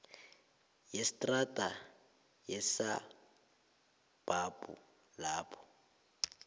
yestrada yesabhabhu lapho